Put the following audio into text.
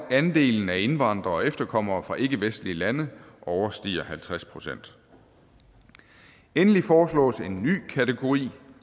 andelen af indvandrere og efterkommere fra ikkevestlige lande overstiger halvtreds procent endelig foreslås en ny kategori